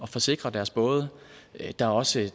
forsikre deres både der er også